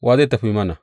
Wa zai tafi mana?